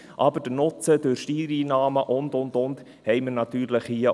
Aber der Nutzen durch Steuereinnahmen und, und, und – diesen haben wir hier natürlich auch.